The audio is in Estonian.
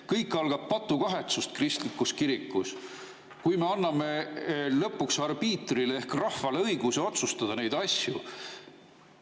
Kõik algab patukahetsusest kristlikus kirikus, me anname lõpuks arbiitrile ehk rahvale õiguse otsustada neid asju.